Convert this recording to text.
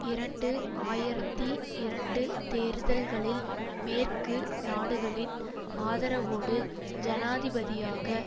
இரண்டு ஆயிரத்தி இரண்டு தேர்தல்களில் மேற்கு நாடுகளின் ஆதரவோடு ஜனாதிபதியாக